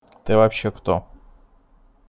ты вообще кто